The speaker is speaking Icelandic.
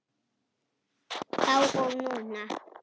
Þá og núna.